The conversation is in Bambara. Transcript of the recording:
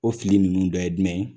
O fili ninnu dɔ ye jumɛn ye ?